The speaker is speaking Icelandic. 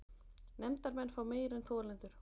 Nefndarmenn fá meira en þolendur